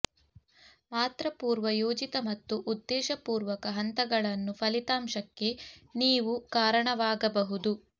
ಮಾತ್ರ ಪೂರ್ವ ಯೋಜಿತ ಮತ್ತು ಉದ್ದೇಶಪೂರ್ವಕ ಹಂತಗಳನ್ನು ಫಲಿತಾಂಶಕ್ಕೆ ನೀವು ಕಾರಣವಾಗಬಹುದು